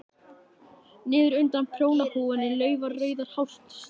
Niður undan prjónahúfunni lafa rauðar hártjásur.